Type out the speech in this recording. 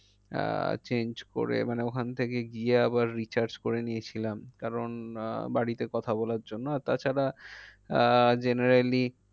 আহ change করে মানে ওখান থেকে গিয়ে আবার recharge করে নিয়েছিলাম। কারণ আহ বাড়িতে কথা বলার জন্য আর তাছাড়া আহ generally